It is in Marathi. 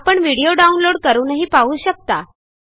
आपण व्हिडीओ डाउनलोड करूनही पाहू शकता